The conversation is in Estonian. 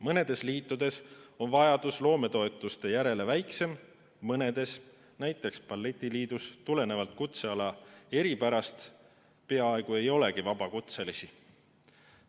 Mõnes liidus on vajadus loometoetuste järele väiksem, mõnes, näiteks balletiliidus, tulenevalt kutseala eripärast peaaegu ei olegi vabakutselisi.